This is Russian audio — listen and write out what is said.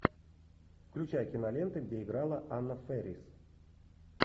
включай киноленты где играла анна фэрис